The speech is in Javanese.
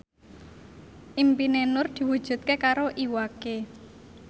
impine Nur diwujudke karo Iwa K